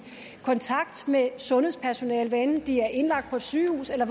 kontakt med sundhedspersonalet hvad enten de er indlagt på et sygehus eller